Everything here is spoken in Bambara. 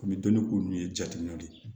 Komi dɔnni ko nunnu ye jatigɛw ye